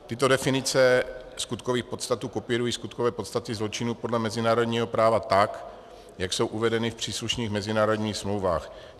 Tyto definice skutkových podstat kopírují skutkové podstaty zločinů podle mezinárodního práva tak, jak jsou uvedeny v příslušných mezinárodních smlouvách.